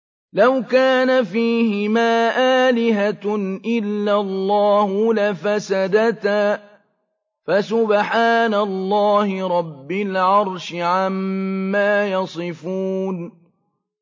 لَوْ كَانَ فِيهِمَا آلِهَةٌ إِلَّا اللَّهُ لَفَسَدَتَا ۚ فَسُبْحَانَ اللَّهِ رَبِّ الْعَرْشِ عَمَّا يَصِفُونَ